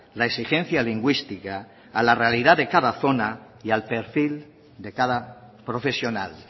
la exigencia lingüística a la realidad de cada zona y al perfil de cada profesional